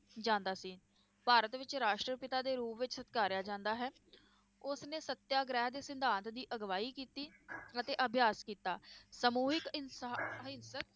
ਜਾਂਦਾ ਸੀ ਭਾਰਤ ਵਿਚ ਰਾਸ਼ਟ੍ਰਪਿਤਾ ਦੇ ਰੂਪ ਵਿਚ ਸਤਕਾਰਿਆ ਜਾਂਦਾ ਹੈ ਉਸ ਨੇ ਸਤਿਆਗ੍ਰਹਿ ਦੇ ਸਿਧਾਂਤ ਦੀ ਅਘਵਾਈ ਕੀਤੀ ਅਤੇ ਅਭਿਆਸ ਕੀਤਾ ਸਮੂਹਿਕ ਇੰਸਾ~ ਅਹਿੰਸਕ